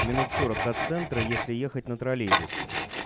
минут сорок от центра если ехать на троллейбусе